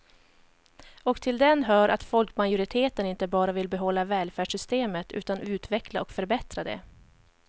Och till den hör att folkmajoriteten inte bara vill behålla välfärdssamhället utan utveckla och förbättra det.